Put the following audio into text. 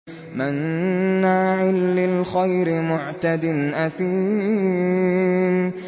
مَّنَّاعٍ لِّلْخَيْرِ مُعْتَدٍ أَثِيمٍ